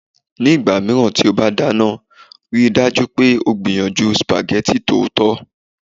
Nígbà mìíràn tí o bá dáná, rí i dájú pé o gbìyànjú spaghetti tòótọ́